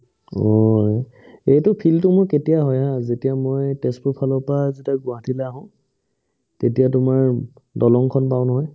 অএ এইটো feel টো মোৰ কেতিয়া হয় haa যেতিয়া মই তেজপুৰ ফালৰ পাই যেতিয়া গুৱাহাটীলৈ আহো তেতিয়া তোমাৰ দলংখন পাও নহয়